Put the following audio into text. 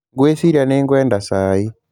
Ngwĩciria nĩ ngwenda cai.